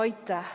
Aitäh!